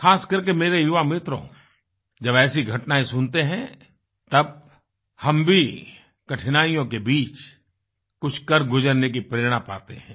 ख़ासकर के मेरे युवा मित्रों जब ऐसी घटनाएँ सुनते हैं तब हम भी कठिनाइयों के बीच कुछ कर गुजरने की प्रेरणा पाते हैं